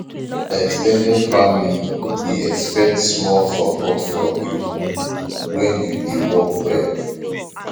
ex ten ded family dey expect small support from you when you dey work well